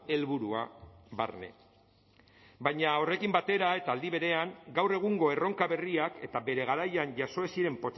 helburua barne baina horrekin batera eta aldi berean gaur egungo erronka berriak eta bere garaian jaso ez ziren